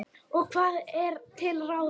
Og hvað er til ráða?